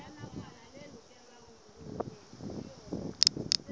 ya pele e neng e